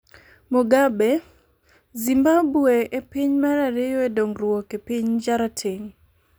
Mugabe: Zimbabwe e piny mar ariyo e dongruok e piny jarateng'